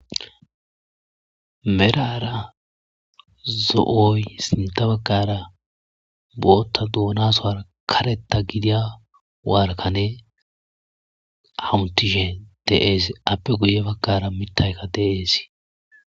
"Medhara zo'oy sintta baggara boothay doona suwara karetta gidiya wora kaney hamutishe de'ees aape guye baggarakka mitaykka de'es."